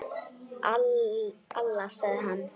Alla, sagði hann.